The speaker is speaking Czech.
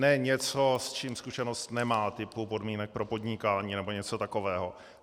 Ne něco, s čím zkušenost nemá, typu podmínek pro podnikání nebo něco takového.